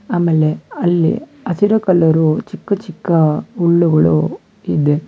ಆಮೇಲೆ ಅಲ್ಲಿ ಹಸಿರು ಕಲರು ಚಿಕ್ಕ ಚಿಕ್ಕ ಹುಲ್ಲುಗಳು ಇದೆ.